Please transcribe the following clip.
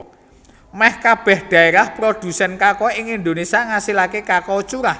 Mèh kabèh dhaérah prodhusèn kakao ing Indonésia ngasilaké kakao curah